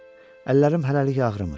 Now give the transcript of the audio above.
Əllərim hələlik ağrımır.